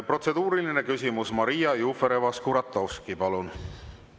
Protseduuriline küsimus, Maria Jufereva-Skuratovski, palun!